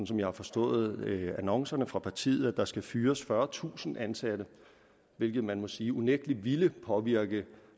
som jeg har forstået annoncerne fra partiet at der skal fyres fyrretusind ansatte hvilket man må sige unægtelig vil påvirke